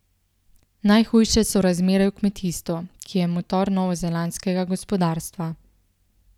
Najhujše so razmere v kmetijstvu, ki je motor novozelandskega gospodarstva.